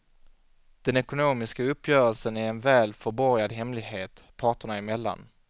Den ekonomiska uppgörelsen är en väl förborgad hemlighet, parterna emellan.